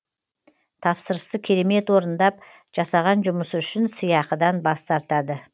тапсырысты керемет орындап жасаған жұмысы үшін сыйақыдан бас тартады